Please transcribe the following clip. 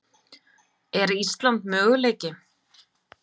Er Ísland möguleiki?